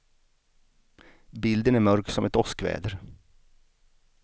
Bilden är mörk som ett åskväder.